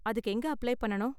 அதுக்கு எங்க அப்ளை பண்ணனும்?